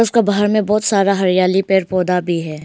इसका बाहर में बहुत सारा हरियाली पेड़ पौधा भी है।